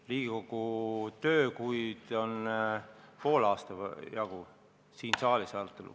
Riigikogu töökuid siin saalis on olnud poole aasta jagu.